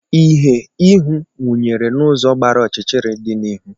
Ìhè ihu nwunyere n'ụzọ gbara ọchịchịrị dị n'ihu.